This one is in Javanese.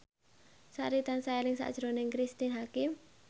Sari tansah eling sakjroning Cristine Hakim